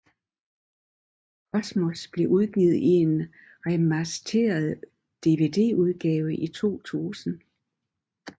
Cosmos blev udgivet i en remastered Dvdudgave i 2000